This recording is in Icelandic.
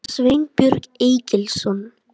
Sveinbjörn Egilsson.